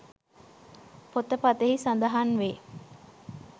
පොත පතෙහි සඳහන් වේ